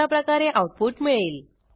अशाप्रकारे आऊटपुट मिळेल